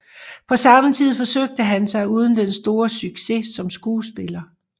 På samme tid forsøgte han sig uden den store succes som skuespiller